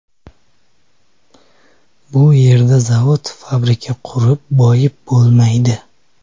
Bu yerda zavod, fabrika qurib boyib bo‘lmaydi.